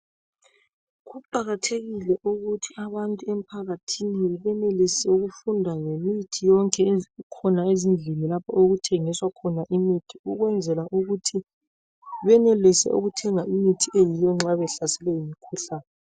Kuqakathekile ukuthi abantu emphakathini benelise ukufunda ngemithi yonke ekhona ezindlini lapho okuthengiswa khona imithi ukwenzela ukuthi benelise ukuthenga imithi eyiyo nxa behlaselwe yimikhuhlane .